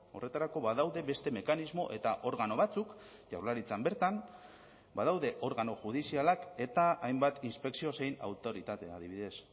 horretarako badaude beste mekanismo eta organo batzuk jaurlaritzan bertan badaude organo judizialak eta hainbat inspekzio zein autoritatea adibidez